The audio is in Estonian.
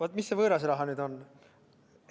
Oot, mis see võõras raha nüüd on?